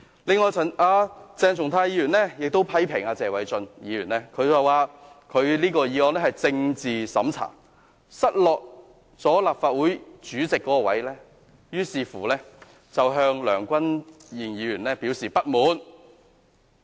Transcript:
此外，鄭松泰議員批評謝偉俊議員，提出這項議案是政治審查，指他因為失落立法會主席一職，於是向梁君彥議員表示不滿。